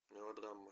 мелодрама